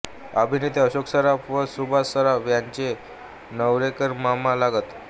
अभिनेते अशोक सराफ व सुभाष सराफ यांचे नेवरेकर मामा लागत